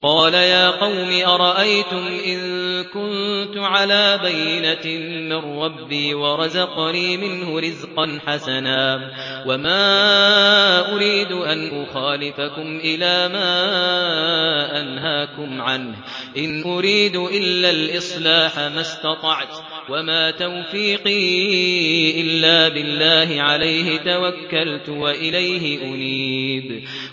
قَالَ يَا قَوْمِ أَرَأَيْتُمْ إِن كُنتُ عَلَىٰ بَيِّنَةٍ مِّن رَّبِّي وَرَزَقَنِي مِنْهُ رِزْقًا حَسَنًا ۚ وَمَا أُرِيدُ أَنْ أُخَالِفَكُمْ إِلَىٰ مَا أَنْهَاكُمْ عَنْهُ ۚ إِنْ أُرِيدُ إِلَّا الْإِصْلَاحَ مَا اسْتَطَعْتُ ۚ وَمَا تَوْفِيقِي إِلَّا بِاللَّهِ ۚ عَلَيْهِ تَوَكَّلْتُ وَإِلَيْهِ أُنِيبُ